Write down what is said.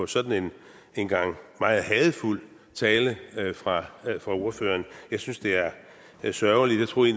sådan en meget hadefuld tale fra ordføreren jeg synes det er sørgeligt jeg troede